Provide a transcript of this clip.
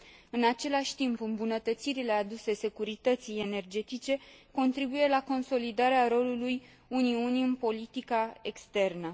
În același timp, îmbunătățirile aduse securității energetice contribuie la consolidarea rolului Uniunii în politica externă.